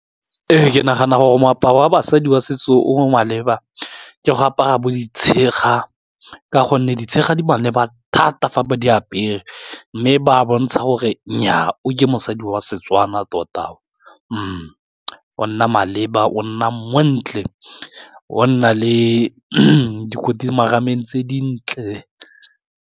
Ee, ke nagana gore moaparo wa basadi wa setso o maleba ke go apara bo ditshega, ka gonne ditshega di maleba thata fa ba di apere, mme ba bontsha gore nnyaa a oke mosadi wa Setswana tota, o nna maleba o nna montle, o nna le dikoti marameng tse dintle.